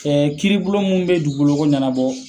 Kɛ kiiri bulon munnu be dugukolo ko ɲɛnabɔ